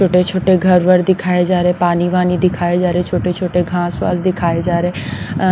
छोटे-छोटे घर वर दिखाए जा रहे हैं पानीवानी दिखाए जा रहे छोटे-छोटे घास वास दिखाए जा रहे।